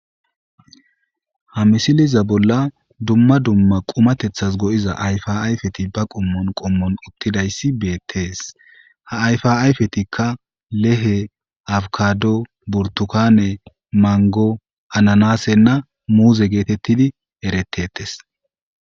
Ha misileza bolla dumma dumma qumatethas go7iza ayfa ayfeti ba qommon qommon uttidayssi beettees. Ha ayfa ayfetikka leehe afkaado burttukane manggo ananaasenna muuze geetettidi ereteetes.